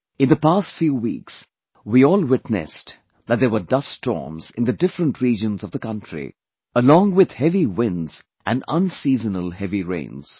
In the past few weeks, we all witnessed that there were dust storms in the different regions of the country, along with heavy winds and unseasonal heavy rains